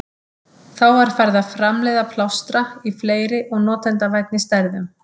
Þá var farið að framleiða plástra í fleiri og notendavænni stærðum.